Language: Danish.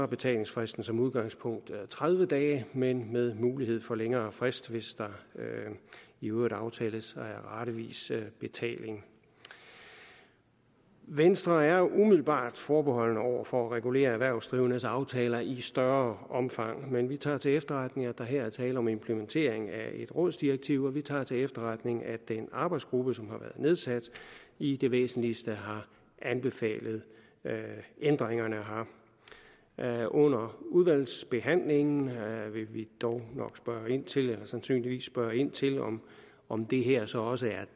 betalingsfristen som udgangspunkt tredive dage men med mulighed for længere frist hvis der i øvrigt aftales ratevis betaling venstre er umiddelbart forbeholden over for at regulere erhvervsdrivendes aftaler i større omfang men vi tager til efterretning at der her er tale om implementering af et rådsdirektiv og vi tager til efterretning at en arbejdsgruppe som har været nedsat i det væsentligste har anbefalet ændringerne her under udvalgsbehandlingen vil vi dog sandsynligvis spørge ind til om det her så også er